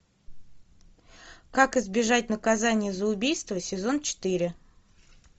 как избежать наказания за убийство сезон четыре